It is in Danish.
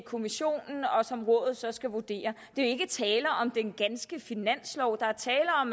kommissionen og som rådet så skal vurdere der jo ikke tale om den ganske finanslov der er tale om